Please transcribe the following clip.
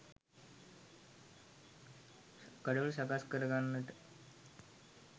ගඩොල් සකස් කරගන්නට